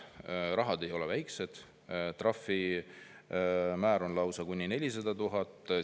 ei ole väikesed, trahvimäär on lausa kuni 400 000 eurot.